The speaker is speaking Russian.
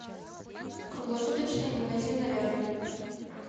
круглосуточные магазины рядом